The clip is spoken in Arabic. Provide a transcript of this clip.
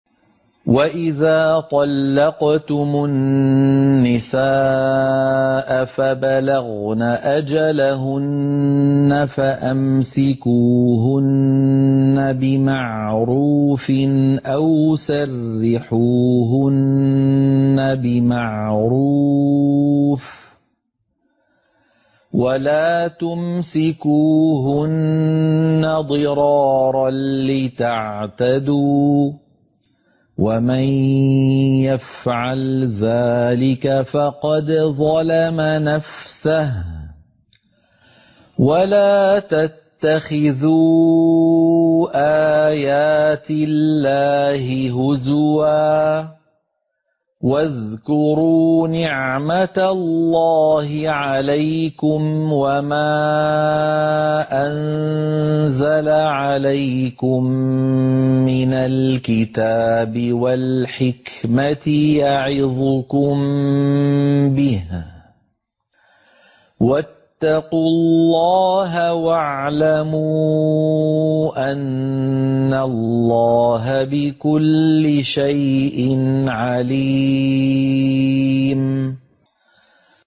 وَإِذَا طَلَّقْتُمُ النِّسَاءَ فَبَلَغْنَ أَجَلَهُنَّ فَأَمْسِكُوهُنَّ بِمَعْرُوفٍ أَوْ سَرِّحُوهُنَّ بِمَعْرُوفٍ ۚ وَلَا تُمْسِكُوهُنَّ ضِرَارًا لِّتَعْتَدُوا ۚ وَمَن يَفْعَلْ ذَٰلِكَ فَقَدْ ظَلَمَ نَفْسَهُ ۚ وَلَا تَتَّخِذُوا آيَاتِ اللَّهِ هُزُوًا ۚ وَاذْكُرُوا نِعْمَتَ اللَّهِ عَلَيْكُمْ وَمَا أَنزَلَ عَلَيْكُم مِّنَ الْكِتَابِ وَالْحِكْمَةِ يَعِظُكُم بِهِ ۚ وَاتَّقُوا اللَّهَ وَاعْلَمُوا أَنَّ اللَّهَ بِكُلِّ شَيْءٍ عَلِيمٌ